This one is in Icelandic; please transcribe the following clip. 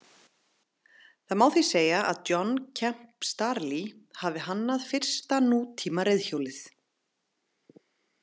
Það má því segja að John Kemp Starley hafi hannað fyrsta nútíma reiðhjólið.